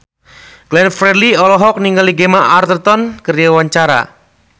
Glenn Fredly olohok ningali Gemma Arterton keur diwawancara